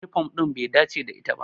Yunifom ɗin bai dace da ita ba.